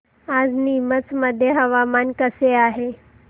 आज नीमच मध्ये हवामान कसे आहे